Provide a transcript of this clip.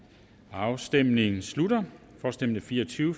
afstemningen slutter for stemte fire og tyve